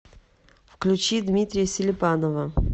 включи дмитрия селипанова